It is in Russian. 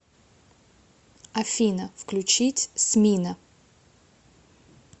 афина включить смино